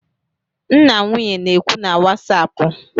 M na nwunye na-ekwu na wasapụ